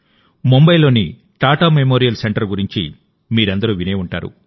ముంబైలోని Tata Memorial Centre గురించి మీరందరూ వినే ఉంటారు